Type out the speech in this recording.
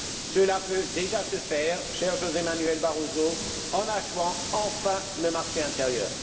Cela peut déjà se faire, cher José Manuel Barroso, en achevant enfin le marché intérieur.